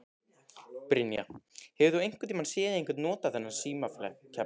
Brynja: Hefur þú einhvern tíman séð einhver nota þennan símaklefa?